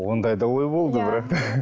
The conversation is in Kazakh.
ондай да ой болды бірақ